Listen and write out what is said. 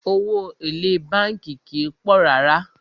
Owó èlé bánkì kìí pọ̀ rárá.